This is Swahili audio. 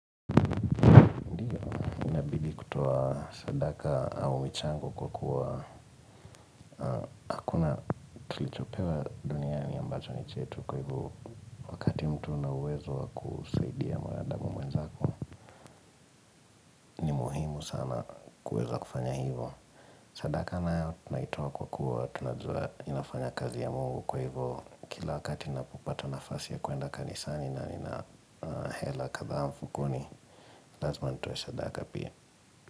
Inabidi kutoa sadaka au michango kwa kuwa Hakuna tulichopewa duniani ambacho ni chetu kwa hivyo Kwa hivyo uwezo wa kusaidia mwanadamu mwenzako ni muhimu sana kuweza kufanya hivyo sadaka nayo tunaitoa kwa kuwa Tunajua inafanya kazi ya mungu kwa hivyo Kila wakati napopata nafasi ya kuenda kanisani na nina hela kadhaa mfukoni Lazima nitoe sadaka pia.